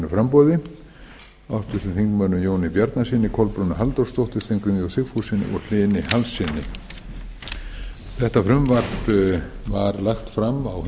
framboði hæstvirtum þingmönnum jóni björgvinssyni kolbrúnu halldórsdóttur steingrími j sigfússyni og hlyni hallssyni þetta frumvarp var lagt fram á